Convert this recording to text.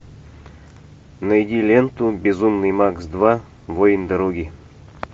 найди ленту безумный макс два воин дороги